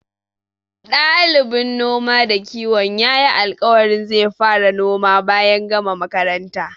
Ɗalibin noma da kiwon yayi alƙawarin zai fara noma bayan gama makaranta.